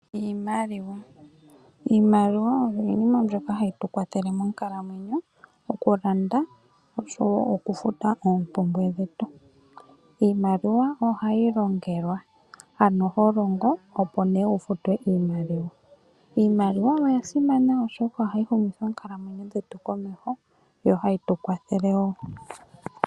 Iimaliwa oyo iinima mbyoka hayi tu kwathele monkalamweyo mokulanda oshowo okufuta oompumbwe dhetu. Iimaliwa ohayi longelwa, ano ho longo opo nee wu futwe iimaliwa. Iimaliwa oya simana oshoka ohayi humitha oonkalamweyo dhetu komeho, yo ohayi tu kwathele wo.